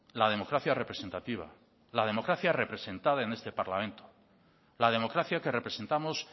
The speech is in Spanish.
la democracia representativa la democracia representada en este parlamento la democracia que representamos